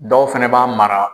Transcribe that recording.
Dɔw fana b'a mara